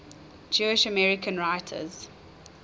jewish american writers